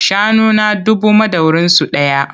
Shanuna dubu madaurinsu ɗaya.